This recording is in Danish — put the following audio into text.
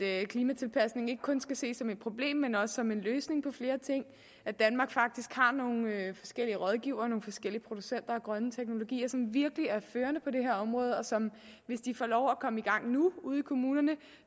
at klimatilpasning ikke kun skal ses som et problem men også som en løsning på flere ting at danmark faktisk har nogle forskellige rådgivere og nogle forskellige producenter af grønne teknologier som virkelig er førende på det her område og som hvis de får lov at komme i gang nu ude i kommunerne